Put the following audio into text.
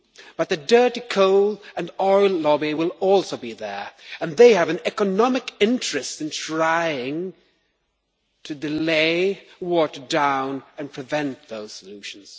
But the dirty coal and oil lobby will also be there and they have an economic interest in trying to delay, water down and prevent those solutions.